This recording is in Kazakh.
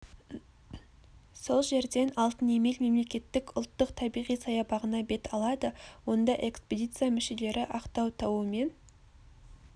сол жерден алтынемел мемлекеттік ұлттық табиғи саябағына бет алады онда экспедиция мүшелері ақтау тауы мен